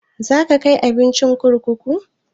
Za ka kai abincin kurkuku?